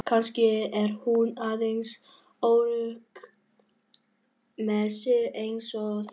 Kannski er hún aðeins óörugg með sig eins og þú.